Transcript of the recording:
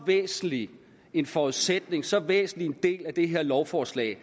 væsentlig en forudsætning så væsentlig en del af det her lovforslag